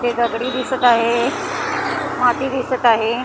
हे दगडी दिसत आहे माती दिसत आहे .